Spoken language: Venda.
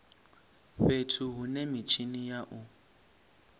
fhethu hune mitshini ya u